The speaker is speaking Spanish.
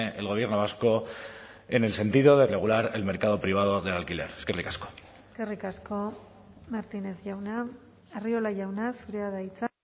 el gobierno vasco en el sentido de regular el mercado privado del alquiler eskerrik asko eskerrik asko martínez jauna arriola jauna zurea da hitza